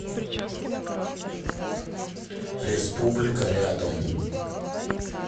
республика рядом